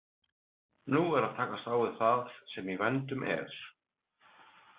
Nú er að takast á við það sem í vændum er.